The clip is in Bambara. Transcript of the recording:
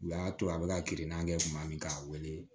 U y'a to a bɛ ka kirinna kɛ kuma min k'a wele